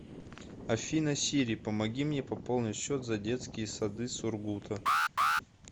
афина сири помоги мне пополнить счет за детские сады сургута